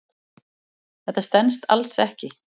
Þetta stenst alls ekki.